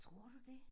Tror du det?